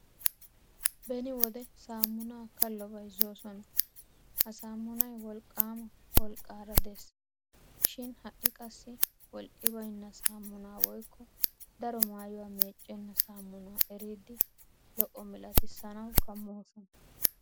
Beni wode saammunaa kallo bayzzoosona ha saammunay wolqqaama wolqqaama Des. Shi ha'i qassi wolqqi baynna saammunaa woykko daro maayuwaa meeccenna saammunaa eriiddi lo'o malatissanawu kammoosona.